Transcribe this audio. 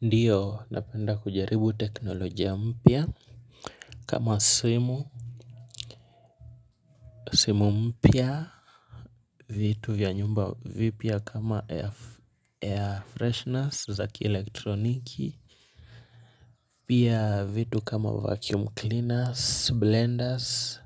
Ndiyo napenda kujaribu teknolojia mpya kama simu, simu mpya vitu vya nyumba vipya kama air freshners za kielektroniki. Pia vitu kama vacuum cleaners, blenders,